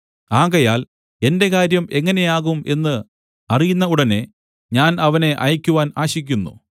ആകയാൽ എന്റെ കാര്യം എങ്ങനെ ആകും എന്ന് അറിയുന്ന ഉടനെ ഞാൻ അവനെ അയക്കുവാൻ ആശിക്കുന്നു